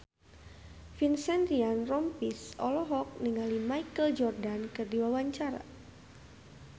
Vincent Ryan Rompies olohok ningali Michael Jordan keur diwawancara